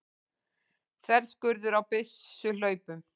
Þverskurður á byssuhlaupum.